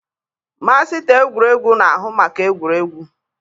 Masịta egwuregwu na-ahụ maka egwuregwu.